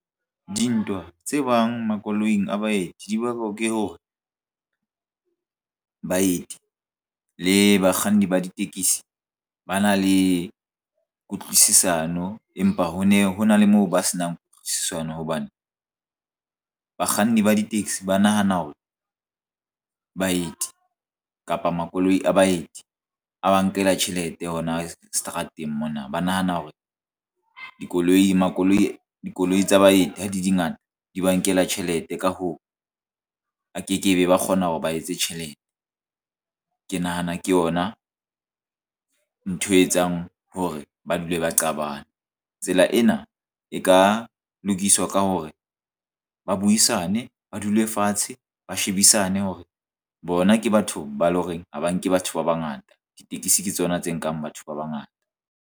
Dintwa tse bang makoloing a baeti di bakwa ke hore baeti le bakganni ba ditekisi ba na le kutlwisisano, empa ho ne hona le moo ba senang kutlwisisano hobane bakganni ba di-taxi ba nahana hore baeti kapa makoloi a baeti a ba nkela tjhelete hona seterateng mona. Ba nahana hore dikoloi tsa baeti ha dingata di ba nkela tjhelete. Ka hoo, a ke kebe ba kgona ke hore ba etse tjhelete. Ke nahana ke yona ntho e etsang hore ba dule ba qabana. Tsela ena e ka lokiswa ka e hore ba buisane ba dule fatshe ba shebisane hore bona ke batho ba eleng horeng ha ba nke batho ba bangata. Ditekesi ke tsona tse nkang batho ba bangata.